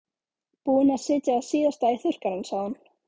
Búin að setja það síðasta í þurrkarann sagði hún.